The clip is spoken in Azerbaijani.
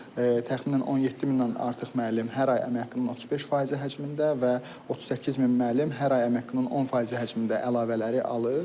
Təxminən 17 minə artıq müəllim hər ay əmək haqqının 35% həcmində və 38 min müəllim hər ay əmək haqqının 10% həcmində əlavələri alır.